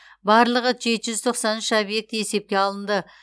барлығы жеті жүз тоқсан үш объекті есепке алынды